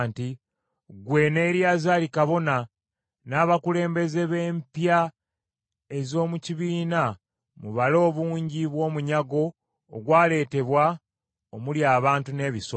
“Ggwe ne Eriyazaali kabona, n’abakulembeze b’empya ez’omu kibiina mubale obungi bw’omunyago ogwaleetebwa omuli abantu n’ebisolo.